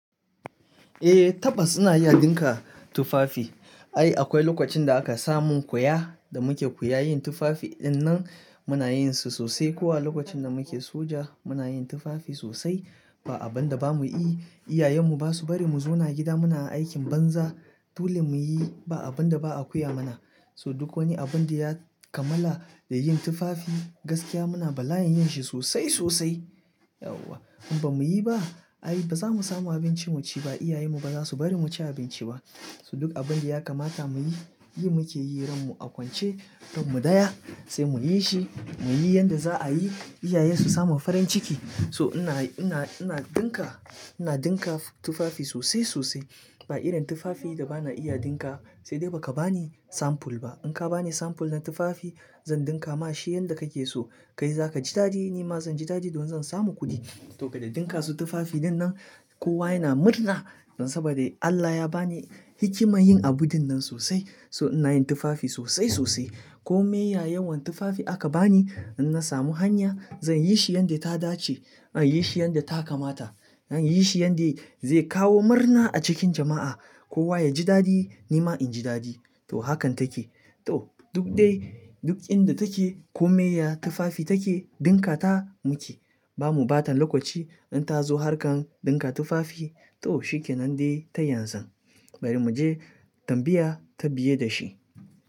Eh tabbas ina iya dinka tufafi. Ai akwai lokacin da aka samun koya da muke koya yin tufafi dinnan muna yin su sosai. Ko a lokacin da muke soja muna yin tufafi sosai ba abunda bamu yi. Iyayen mu basu bari mu zauna gida muna aikin banza. Dole muyi ba abunda ba a koya mana. So duk wani abinda ya kamala da yin tufafi gaskiya muna bala'yin yin shi sosai sosai. Yauwa! In bamuyi ba ai bazamu samu abinci mu ci ba. Iyayen mu baza su bari mu ci abinci ba. So duk abinda ya kamata muyi, yi muke yi ran mu a kwance kanmu daya sai muyi shi muyi yanda za'a yi iyayen su samu farin ciki. So ina, ina, ina dinka, ina dinka tufafi sosai sosai. Ba irin tufafi da bana iya dinka sai dai baka bani samful ba. In ka bani samful na tufafi zan dinka ma shi yanda kake so. Kai zaka ji daɗi nima zan ji daɗi domin zan samu kuɗi. Saboda da ɗinka su tufafi ɗinnan kowa yana murna saboda Allah ya bani hikima yin abun ɗinnan sosai. So ina yin tufafi sosai sosai. Komai ya yawan tufafi aka bani in na samu hanya zan yi shi yanda ta dace. Zanyi shi yanda ta kamata. An yi shi yanda zai kawo murna a cikin jama'a. Kowa yaji daɗi nima inji daɗi. To hakan take. To duk dai duk inda take komai ya tufafi take ɗinka ta muke. Bamu ɓatan lokaci in ta zo harkan ɗinka tufafi to shikenan dai ta yanzu. Bari mu je tambaya ta biye da shi.